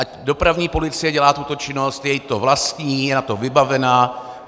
Ať dopravní policie dělá tuto činnost, je jí to vlastní, je na to vybavená.